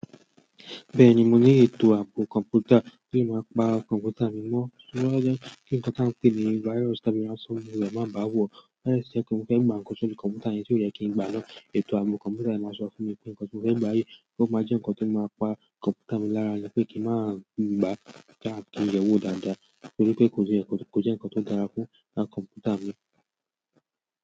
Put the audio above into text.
Bẹ́ẹ̀ni, mo ní ètò ààbò kọ̀ǹpútà tí o máa ń pa kọ̀ǹpútà mi mọ́. Torí o maa n je kí nǹkan tí a ń pè ní virus tàbí ransomware máa bá a wò. To ba de tun je pe mo fẹ́ gba ńkan sórí kọ̀ǹpútà yẹn tí ó yẹ kí ń gba náà. Ètò ààbò kọ̀ǹpútà yẹn máa sọ fún mi pé nǹkan tí mo fẹ́ gba yìí ó maá jẹ́ nǹkan tí ó máa pa kọ̀ǹpútà mi lára iyẹn pé kí n maá gba taa kí n yeè wò dáadáa torí pé kò jẹ́ nkan to ko je nǹkan tó dára fún kọ̀ǹpútà mi.